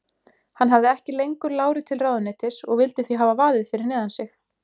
Hann hafði ekki lengur láru til ráðuneytis og vildi því hafa vaðið fyrir neðan sig.